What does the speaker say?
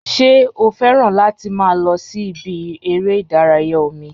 Ṣé o fẹ́ràn láti máa lọ sí ibi eré ìdárayá omi?